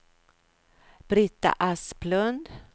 Brita Asplund